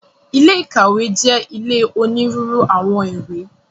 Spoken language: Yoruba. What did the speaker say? Ilé ìkàwé jẹ́ ilé onírúurú àwọn ìwé.